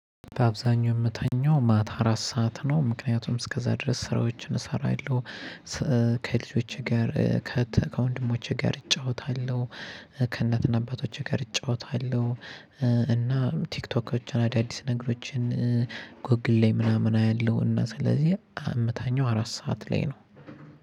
በአብዛኛው እምተኛው ማታ አራት ሰዓት ነው ምክንያቱም እስከዛ ድረስ ስራዎችን እሰራለሁ። ከልጆቼ ጋር ከወንድሞቼ ጋር እጫወታለሁ። ከእናትና አባቶቼ ጋር እጫወታለሁ። እና ቲክቶኮችን አዳዲስ ነገሮችን ጎግል ላይ ምናምን አያለው። እና ስለዚህ እመታኛው አራት ሰዓት ላይ ነው።